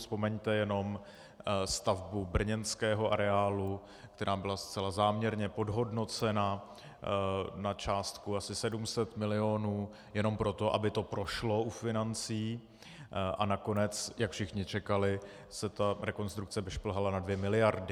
Vzpomeňte jenom stavbu brněnského areálu, která byla zcela záměrně podhodnocena na částku asi 700 milionů jenom proto, aby to prošlo u financí, a nakonec, jak všichni čekali, se ta rekonstrukce vyšplhala na dvě miliardy.